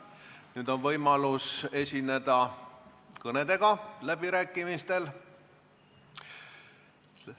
Nüüd on võimalus esineda kõnega läbirääkimistel.